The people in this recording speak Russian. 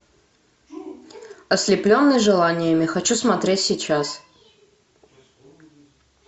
ослепленный желаниями хочу смотреть сейчас